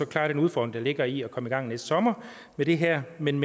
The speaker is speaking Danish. klare den udfordring der ligger i at komme i gang næste sommer med det her men